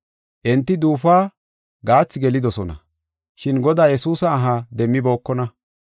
Enti duufuwa gaathi gelidosona, shin Godaa Yesuusa aha demmibookona.